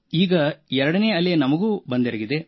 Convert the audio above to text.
ಈಗ ಎರಡನೇ ಅಲೆ ನಮಗೆ ಬಂದೆರಗಿದೆ